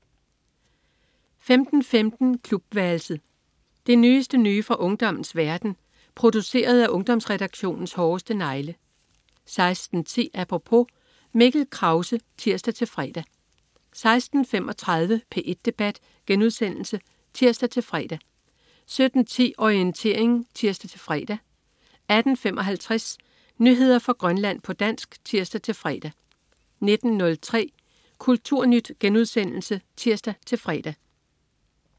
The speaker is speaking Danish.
15.15 Klubværelset. Det nyeste nye fra ungdommens verden, produceret af Ungdomsredaktionens hårdeste negle 16.10 Apropos. Mikkel Krause (tirs-fre) 16.35 P1 Debat* (tirs-fre) 17.10 Orientering (tirs-fre) 18.55 Nyheder fra Grønland, på dansk (tirs-fre) 19.03 Kulturnyt* (tirs-fre)